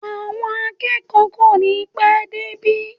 Àwọn akẹ́kọ̀ọ́ kò ní pẹ́ dé ibi